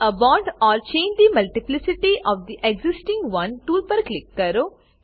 add a bond or change the multiplicity of the existing one tool પર click કરો